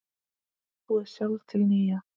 Og búið sjálf til nýja.